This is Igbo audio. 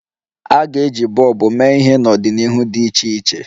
A ga-eji bọlbụ mee ihe n'ọdịnihu dị iche iche.